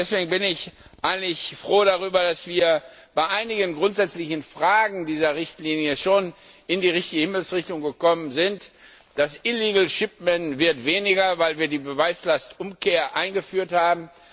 Deswegen bin ich eigentlich froh darüber, dass wir bei einigen grundsätzlichen Fragen dieser Richtlinie schon in die richtige Himmelsrichtung gekommen sind Die illegale Verbringung wird weniger, weil wir die Beweislastumkehr eingeführt haben.